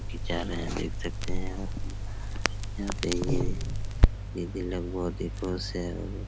देख सकते है यहाँ पे ये दीदी लोग बहुत ही खुश है।